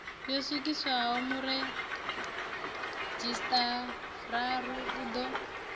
yo swikiswaho muredzhisitarara u ḓo